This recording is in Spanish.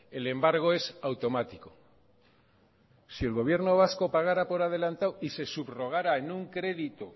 el embargo es automático si el gobierno vasco pagara por adelantado y se subrogara en un crédito